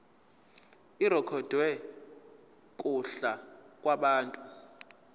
irekhodwe kuhla lwabantu